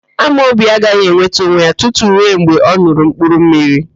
Amobi agaghị enweta onwe ya tutu rue mgbe ọ n̄ụrụ mkpurummiri